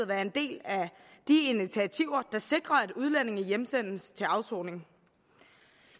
være en del af de initiativer der sikrer at udlændinge hjemsendes til afsoning